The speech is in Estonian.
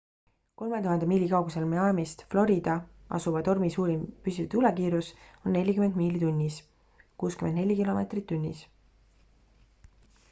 3000 miili kaugusel miamist florida asuva tormi suurim püsiv tuulekiirus on 40 miili tunnis 64 km/h